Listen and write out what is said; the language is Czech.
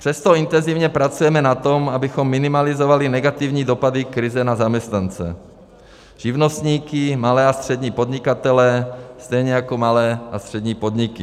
Přesto intenzivně pracujeme na tom, abychom minimalizovali negativní dopady krize na zaměstnance, živnostníky, malé a střední podnikatele, stejně jako malé a střední podniky.